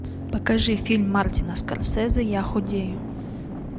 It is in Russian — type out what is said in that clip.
покажи фильм мартина скорсезе я худею